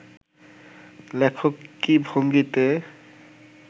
লেখক কী ভঙ্গিতে